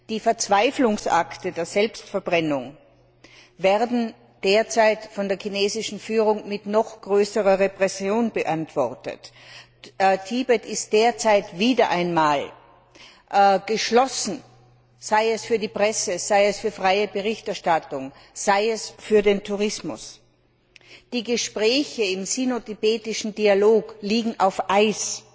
Die Verzweiflungsakte der Selbstverbrennung werden derzeit von der chinesischen Führung mit noch größerer Repression beantwortet. Tibet ist derzeit wieder einmal geschlossen, sei es für die Presse, sei es für freie Berichterstattung, sei es für den Tourismus. Die Gespräche im sino tibetischen Dialog liegen auf Eis.